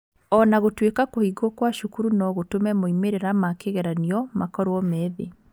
O na gũtuĩka kũhingwo kwa cukuru no gũtũme moimĩrĩra ma kĩgeranio makorwo me thĩ.